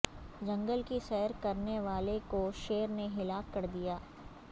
جنگل کی سیر کرنے والے کو شیر نے ہلاک کردیا